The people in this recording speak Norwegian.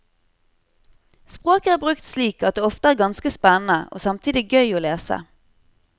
Språket er brukt slik at det ofte er ganske spennende, og samtidig gøy og lese.